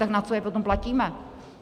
Tak na co je potom platíme?